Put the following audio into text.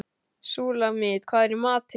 Súlamít, hvað er í matinn?